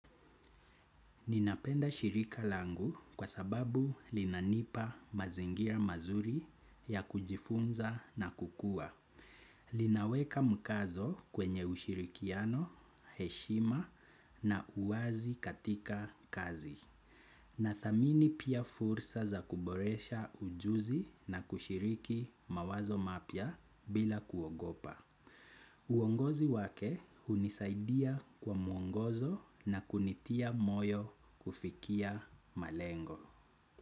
Ninapenda shirika langu kwa sababu linanipa mazingira mazuri ya kujifunza na kukua. Linaweka mkazo kwenye ushirikiano, heshima na uwazi katika kazi. Nathamini pia fursa za kuboresha ujuzi na kushiriki mawazo mapya bila kuogopa. Uongozi wake hunisaidia kwa muongozo na kunitia moyo kufikia malengo.